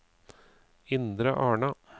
Indre Arna